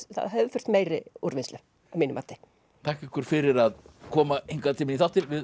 það hefði þurft meiri úrvinnslu að mínu mati þakka ykkur fyrir að koma hingað til mín í þáttinn við